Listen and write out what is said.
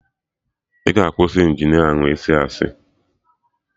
Ị ga akwụsị Injinia ahụ ịsị asị